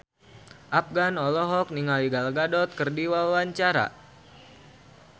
Afgan olohok ningali Gal Gadot keur diwawancara